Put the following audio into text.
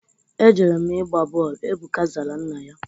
Ejere m ịgba bọọlụ. Ebuka zara nna ya.